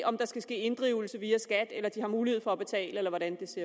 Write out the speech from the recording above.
om der skal ske inddrivelse via skat eller om de har mulighed for betale eller hvordan det ser